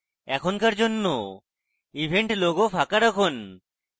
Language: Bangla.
এখনকার জন্য event logo ফাঁকা রাখুন